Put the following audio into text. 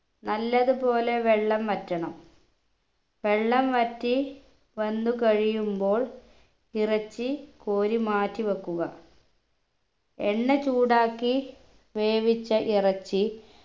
നല്ലതുപോലെ വെള്ളം വറ്റണം വെള്ളം വറ്റി വന്നു കഴിയുമ്പോൾ ഇറച്ചി കോരി മാറ്റി വെക്കുക എണ്ണ ചൂടാക്കി വേവിച്ച ഇറച്ചി